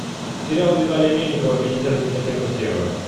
сериал виталия мельникова пятьдесят оттенков серого